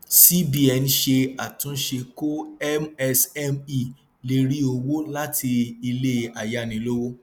cbn ṣe àtúnṣe kó msme lè rí owó láti ilé ayánilówó